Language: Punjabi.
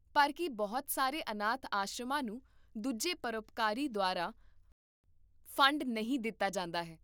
ਪਰ ਕੀ ਬਹੁਤ ਸਾਰੇ ਅਨਾਥ ਆਸ਼ਰਮਾਂ ਨੂੰ ਦੂਜੇ ਪਰਉਪਕਾਰੀ ਦੁਆਰਾ ਫੰਡ ਨਹੀਂ ਦਿੱਤਾ ਜਾਂਦਾ ਹੈ?